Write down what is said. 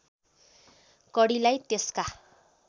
कडीलाई त्यसका